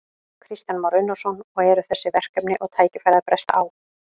Kristján Már Unnarsson: Og eru þessi verkefni og tækifæri að bresta á?